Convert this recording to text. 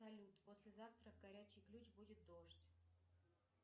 салют послезавтра горячий ключ будет дождь